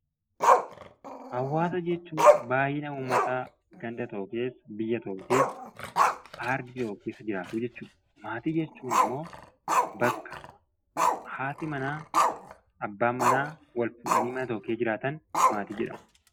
Hawaasa jechuun baay'ina uummataa ganda tokko keessa, biyya tokko, ardii tokko keessa jiraatu jechuudha. Maatii jechuun immoo bakka haati manaa, abbaan manaa wal fuudhanii mana tokko keessa jiraatan maatii jedhamu.